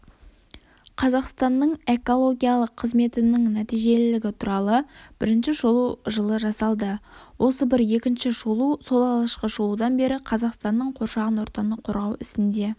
қазақстанның экологиялық қызметінің нәтижелілігі туралы бірінші шолу жылы жасалды осы бір екінші шолу сол алғашқы шолудан бері қазақстанның қоршаған ортаны қорғау ісінде